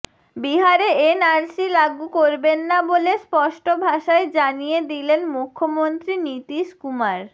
বিহারে এনআরসি লাগু করবেন না বলে স্পষ্ট ভাষায় জানিয়ে দিলেন মুখ্যমন্ত্রী নীতীশ কুমার